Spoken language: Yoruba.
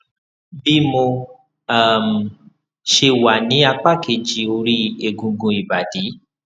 bí mo um ṣe wà ní apá kejì ori egungun ibadi